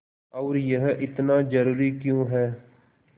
और यह इतना ज़रूरी क्यों है